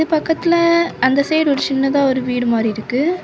பக்கத்துல அந்த சைடு ஒரு சின்னதா ஒரு வீடு மாதிரி இருக்கு.